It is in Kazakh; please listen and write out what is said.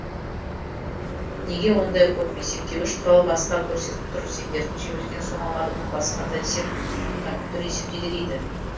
неге ондай көп есептеуіш құрал басқа көрсетіп тұр сендердің жіберген сомаларың басқа десем компьютер есептейді дейді